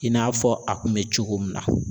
I n'a fɔ a kun be cogo min na